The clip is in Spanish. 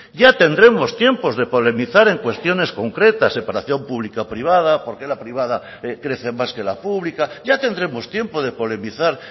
ya tendremos tiempos de polemizar en cuestiones concretas separación pública privada por qué la privada crece más que la pública ya tendremos tiempo de polemizar